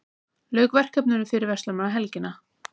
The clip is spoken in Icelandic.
Lauk verkefninu fyrir verslunarmannahelgina